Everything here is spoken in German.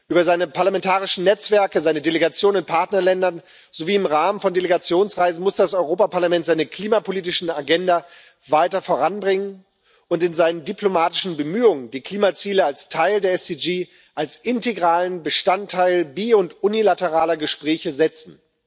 Über seine parlamentarischen Netzwerke, seine Delegationen in Partnerländern sowie im Rahmen von Delegationsreisen muss das Europäische Parlament seine klimapolitische Agenda weiter voranbringen und in seinen diplomatischen Bemühungen die Klimaziele als Teil der Ziele für nachhaltige Entwicklung als integralen Bestandteil bi und unilateraler Gespräche setzen.